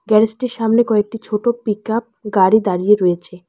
Garage -টির সামনে কয়েকটি ছোট পিক আপ গাড়ি দাঁড়িয়ে রয়েছে।